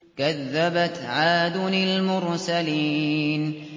كَذَّبَتْ عَادٌ الْمُرْسَلِينَ